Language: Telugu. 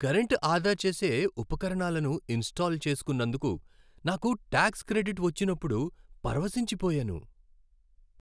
కరెంటు ఆదా చేసే ఉపకరణాలను ఇన్స్టాల్ చేసుకున్నందుకు నాకు ట్యాక్స్ క్రెడిట్ వచ్చినప్పుడు పరవశించిపోయాను.